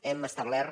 hem establert